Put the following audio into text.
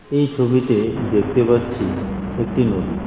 এই ছবিতে দেখতে পাচ্ছি একটি নদী।